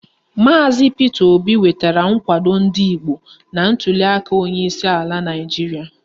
Maazi Pita Obi nwetara nkwado ndị Igbo na ntuliaka onyeisi ala Naịjiria.